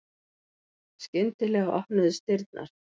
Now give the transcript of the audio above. Skyndilega opnuðust dyrnar.